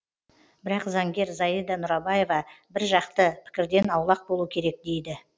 бірақ заңгер зайда нұрабаева бір жақты пікірден аулақ болу керек дейді